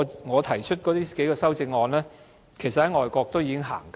我提出的多項修正案，外國早已實行。